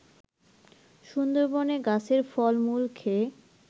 সুন্দরবনে গাছের ফল-মূল খেয়ে